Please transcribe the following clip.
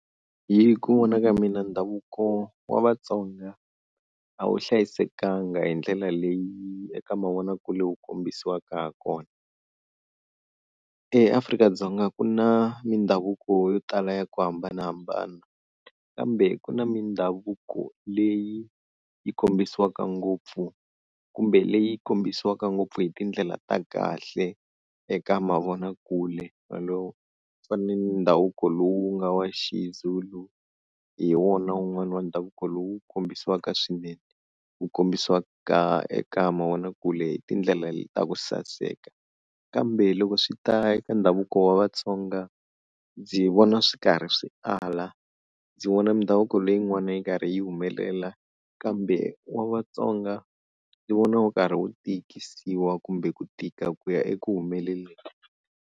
Hi ku vona ka mina ndhavuko wa Vatsonga a wu hlayisekanga hi ndlela leyi eka mavonakule wu kombisiwaka hakona. EAfrika-Dzonga ku na mindhavuko yo tala ya ku hambanahambana, kambe ku na mindhavuko leyi yi kombisiwaka ngopfu kumbe leyi kombisiwaka ngopfu hi tindlela ta kahle eka mavonakule wolowo. Kufana ni ndhavuko lowu nga wa xiZulu hi wona wun'wana wa ndhavuko lowu kombisiwaka swinene, wu kombisiwaka eka mavonakule hi tindlela ta ku saseka, kambe loko swi ta eka ndhavuko wa Vatsonga ndzi vona swi karhi swi ala. Ndzi vona mindhavuko leyin'wana yi karhi yi humelela kambe wa Vatsonga ndzi vona wu karhi wu tikisiwa kumbe ku tika ku ya eku humeleleni.